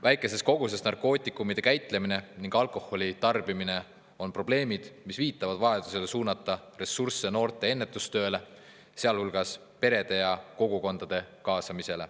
Väikeses koguses narkootikumide käitlemine ning alkoholi tarbimine on probleemid, mis viitavad vajadusele suunata ressursse noorte ennetustöösse, sealhulgas kaasates peresid ja kogukondi.